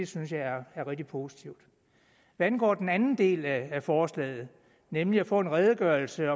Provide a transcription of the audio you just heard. synes jeg er rigtig positivt hvad angår den anden del af forslaget nemlig at få en redegørelse